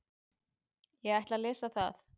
Ég ætla að lesa það.